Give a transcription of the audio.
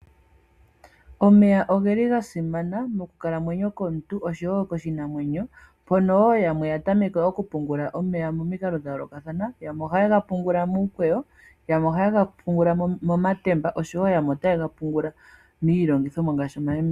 Omeya ogeli ga simana moku kalamwenyo komuntu osho wo koshinanwenyo, moka aantu yamwe ya tameke oku pungula omeya momikalo dhayoolokathana, yamwe oha yega pungula muukweyo, yemwe oha yega pungula mo matemba osho wo yamwe oha yega pungula miilongithomwa ngashi omayemele.